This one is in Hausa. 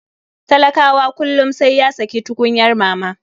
Talakawa kullum saiya sayi tukunyar mama.